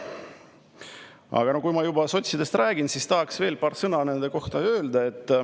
Aga kui ma juba sotsidest räägin, siis tahaks veel paar sõna nende kohta öelda.